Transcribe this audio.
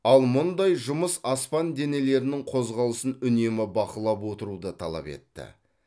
ал мұндай жұмыс аспан денелерінің қозғалысын үнемі бақылап отыруды талап етті